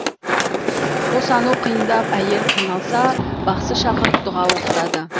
босану қиындап әйел қиналса бақсы шақырып дұға оқытады